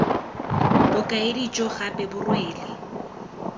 bokaedi jo gape bo rwele